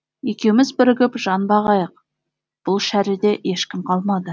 екеуміз бірігіп жан бағайық бұл шәріде ешкім қалмады